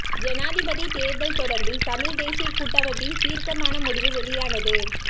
ஜனாதிபதி தேர்தல் தொடர்பில் தமிழ் தேசிய கூட்டமைப்பின் தீர்க்கமான முடிவு வெளியானது